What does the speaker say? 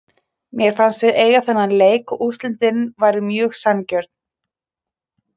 Mé fannst við eiga þennan leik og úrslitin voru mjög sanngjörn.